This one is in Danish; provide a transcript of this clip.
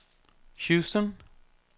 Houston